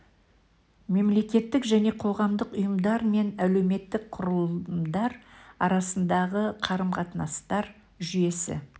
мемлекеттік және қоғамдық ұйымдар мен әлеуметтік құрылымдар арасындағы қарым-қатынастар жүйесі